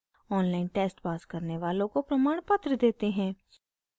online test pass करने वालों को प्रमाणपत्र देते हैं